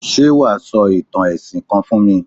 Ṣé wà á sọ ìtàn ẹ̀sìn kan fún mi?